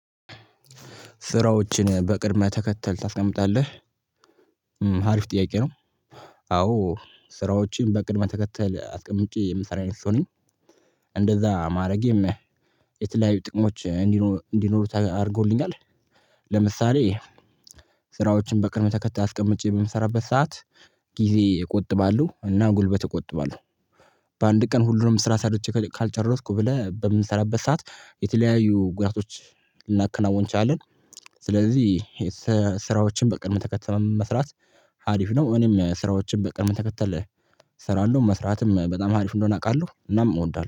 ስራዎችን በቅድም ተከተል ታስቀምጣለህ አሪፍ ጥያቄ ነው። አዎ ስራዎችን በቅድመ ተከተል አስቀምቼ የምሰራ አይነት ሰው ነኝ። እንደዛ ማድረጌም የተለያዩ ጥቅሞች እንዲኖሩ አድርጎልኛል። ለምሳሌ ስራዎችን በቅደም ተከታል አስቀምቼ በምሰራበት ሰዓት ጊዜ እቆጥባሉ እና ጉልበት እቆጥባለሁ። በአንድ ቀን ሁሉንም ስራ ሰርቼ ካልቸረስኩ ብለህ በምንሰራበት ሰዓት የተለያዩ ጉዳቶች ልናከናውን እንችለለን። ስለዚህ ስራዎችን በቅድም ተከተል መስራት ሃሪፈ ነው። እኔም ስራዎችን በቅድም ተከተል እሰራለሁ መስራትም በጣም ሃሪፈ እንደሆነ አውቃለሁ እናም እወዳለሁ